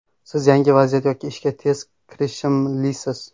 Siz yangi vaziyat yoki ishga tez kirishimlisiz.